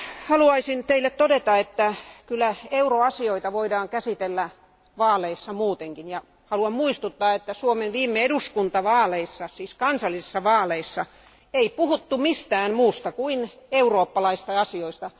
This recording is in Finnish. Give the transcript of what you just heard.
Haluaisin vielä todeta, että kyllä euroasioita voidaan käsitellä vaaleissa muutenkin, ja haluan muistuttaa, että Suomen viime eduskuntavaaleissa, siis kansallisissa vaaleissa, ei puhuttu mistään muusta kuin eurooppalaisista asioista.